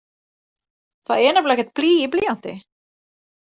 Það er nefnilega ekkert blý í blýanti!